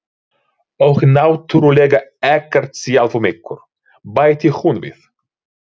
Og náttúrlega ekkert sjálfum ykkur, bætti hún við.